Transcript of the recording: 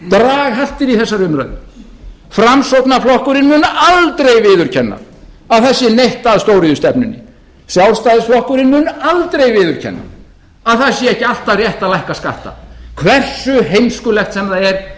draghaltir í þessari umræðu framsóknarflokkurinn mun aldrei viðurkenna að það sé neitt að stóriðjustefnunni sjálfstæðisflokkurinn mun aldrei viðurkenna að það sé ekki alltaf rétt að lækka skatta hversu heimskulegt sem það er